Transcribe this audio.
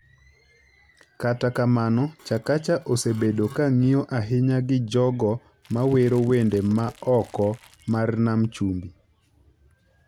Kata kamano, Chakacha osebedo ka ng’iyo ahinya gi jogo ma wero wende ma oko mar nam chumbi,